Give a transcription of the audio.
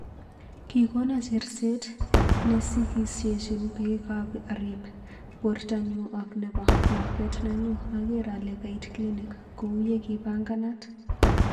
"Kikono cherset nesikisyechin pikk arip. portonyu ak nepo. lakwet nenyuu ager ale kait klinik kou yekipanganat.